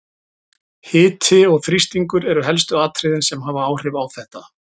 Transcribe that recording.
Hiti og þrýstingur eru helstu atriðin sem hafa áhrif á þetta.